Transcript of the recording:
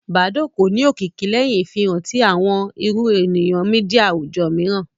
Badoo kò ní òkìkí léhìn ìfihàn ti àwọn ìrù èrò media àwùjọ míìràn